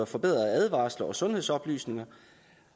forbedrede advarsler og sundhedsoplysninger